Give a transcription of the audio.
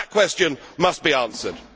West? That question must be answered.